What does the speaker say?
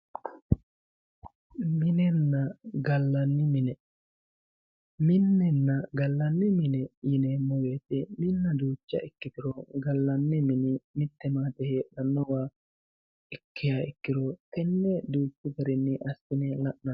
minenna gallanni mine minenna gallanni mine yineemmo wote minna duucha ikkiturono gallanni mini maate heedhanowaati ikkiha ikkirono tenne duuchu garinni assine la'nanni.